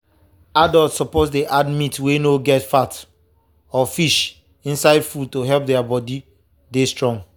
adults suppose dey add meat wey no get fat or fish inside food to help their body to dey strong.